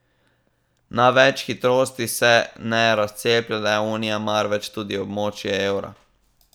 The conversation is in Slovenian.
Na več hitrosti se ne razceplja le Unija, marveč tudi območje evra.